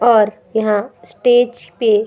और यहाँ स्टेज पे --